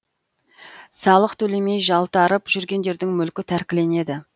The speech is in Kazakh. салық төлемей жалтарып жүргендердің мүлкі тәркіленеді